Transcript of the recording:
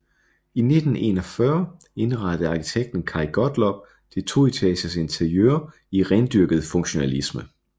I 1941 indrettede arkitekten Kaj Gottlob det toetages interiør i rendyrket funktionalisme